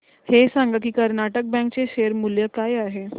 हे सांगा की कर्नाटक बँक चे शेअर मूल्य काय आहे